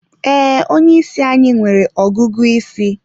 Ee, onye isi anyị nwere ọgụgụ isi.